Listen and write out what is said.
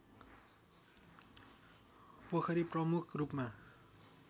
पोखरी प्रमुख रूपमा